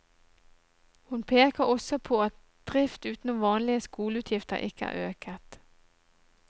Hun peker også på at at drift utenom vanlige skoleutgifter ikke er øket.